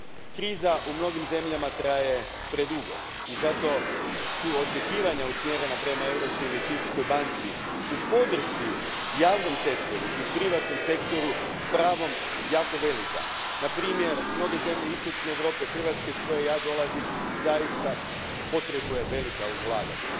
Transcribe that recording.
Kriza u mnogim zemljama traje predugo i zato su očekivanja usmjerena prema Europskoj investicijskoj banci, u podršci javnom sektoru i privatnom sektoru, s pravom jako velika. Na primjer, mnoge zemlje istočne Europe, Hrvatska iz koje ja dolazim, trebaju velika ulaganja.